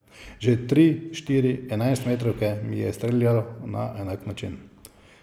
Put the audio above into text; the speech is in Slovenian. Že tri, štiri enajstmetrovke mi je streljal na enak način.